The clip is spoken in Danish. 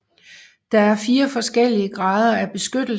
Der er fire forskellige grader af beskyttelse